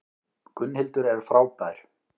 Gunnhildur er frábær.